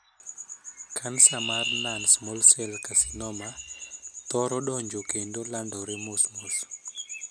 Kansa mar 'non small cell carcinoma' thoro dongo kendo landore mos mos.